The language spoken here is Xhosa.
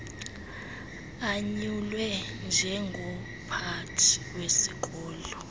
anyulwe njengomphathi wesikolo